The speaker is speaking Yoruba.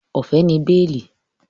Ọ̀fẹ́ ni béèlì